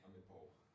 Om et par år